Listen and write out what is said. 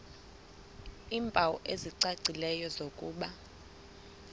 iimpawu ezicacileyo zokuba